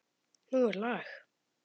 Nú er lag!